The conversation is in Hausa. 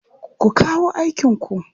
Ku kawo aikinku!